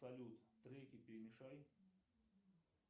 салют треки перемешай